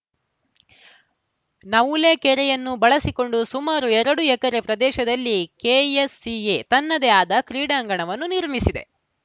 ನವುಲೆ ಕೆರೆಯನ್ನು ಬಳಸಿಕೊಂಡು ಸುಮಾರು ಎರಡು ಎಕರೆ ಪ್ರದೇಶದಲ್ಲಿ ಕೆಎಸ್‌ಸಿಎ ತನ್ನದೇ ಆದ ಕ್ರೀಡಾಂಗಣವನ್ನು ನಿರ್ಮಿಸಿದೆ